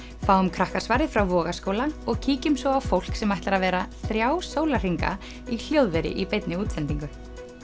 fáum frá Vogaskóla og kíkjum svo á fólk sem ætlar að vera þrjá sólarhringa í hljóðveri í beinni útsendingu